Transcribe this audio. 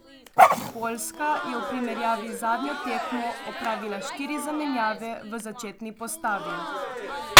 Poljska je v primerjavi z zadnjo tekmo opravila štiri zamenjave v začetni postavi.